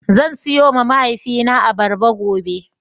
Zan siyowa mahaifina abarba gobe.